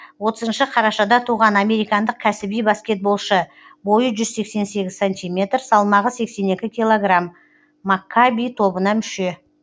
отызыншы қарашада туған американдық кәсіби баскетболшы бойы жүз сексен сегіз сантиметр салмағы сексен екі килограмм маккаби тобына мүше